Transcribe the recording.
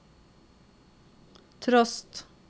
trost